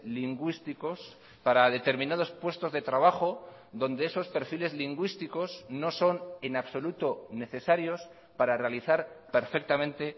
lingüísticos para determinados puestos de trabajo donde esos perfiles lingüísticos no son en absoluto necesarios para realizar perfectamente